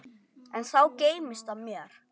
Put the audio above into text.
Enn þá geymist það mér.